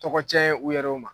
Tɔgɔ cɛn ye u yɛrɛw ma.